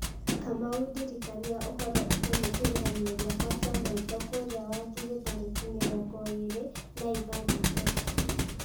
kamau ndirikania ũhoro ũkoniĩ kĩgeranio gĩakwa kĩa maitho kũrĩa wangigĩ tarĩki mĩrongo ĩĩrĩ na ithatatũ